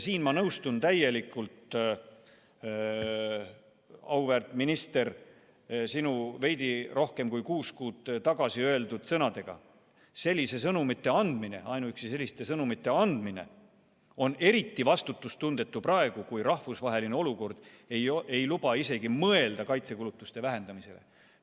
Siin ma nõustun täielikult, auväärt minister, sinu veidi rohkem kui kuus kuud tagasi öeldud sõnadega: ainuüksi selliste sõnumite andmine on eriti vastutustundetu praegu, kui rahvusvaheline olukord ei luba isegi mõelda kaitsekulutuste vähendamisele.